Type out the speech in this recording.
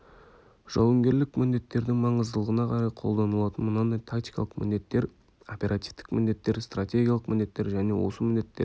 жауынгерлік міндеттердің маңыздылығына қарай қолданылатын мынандай тактикалық міндеттер оперативтік міндеттер стратегиялық міндеттер және осы міндеттерге